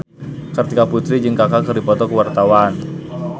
Kartika Putri jeung Kaka keur dipoto ku wartawan